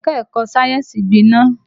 Ẹ̀ka-ẹ̀kọ sáyẹ́nsì gbiná